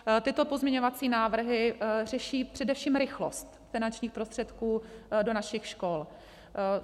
Tyto pozměňovací návrhy řeší především rychlost finančních prostředků do našich škol.